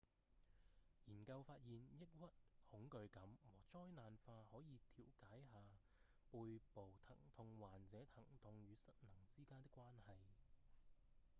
研究發現抑鬱、恐懼感和災難化可以調解下背部疼痛患者疼痛與失能之間的關係